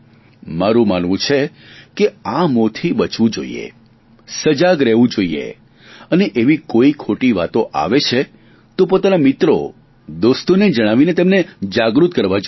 મારું માનવું છે કે આ મોહથી બચવું જોઈએ સજાગ રહેવું જોઇએ અને એવી કોઈ ખોટી વાતો આવે છે તો પોતાના મિત્રો દોસ્તોને જણાવીને તેમને જાગૃત કરવા જોઈએ